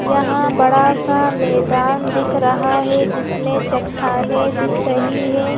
यहाँ बड़ा-सा मैदान दिख रहा है जिसमें चट्टानें दिख रही है।